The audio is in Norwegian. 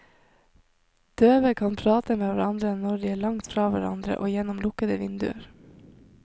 Døve kan prate med hverandre når de er langt fra hverandre og gjennom lukkede vinduer.